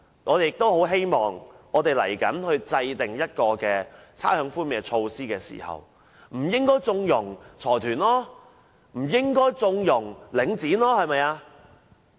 我們希望政府未來制訂差餉寬免措施時，不應縱容包括領展等財團。